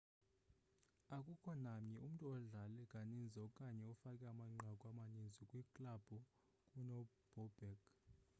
akukho namnye umntu odlale kaninzi okanye ofake amanqaku amaninzi kwiklabhu kunobobek